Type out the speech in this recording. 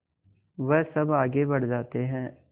वह सब आगे बढ़ जाते हैं